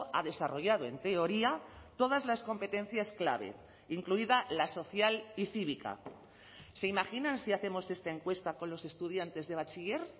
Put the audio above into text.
ha desarrollado en teoría todas las competencias clave incluida la social y cívica se imaginan si hacemos esta encuesta con los estudiantes de bachiller